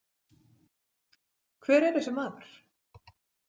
Hver er þessi maður?